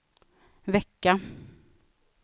vecka